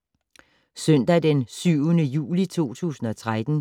Søndag d. 7. juli 2013